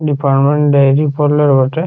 এটি permanent dairy parlour বটে ।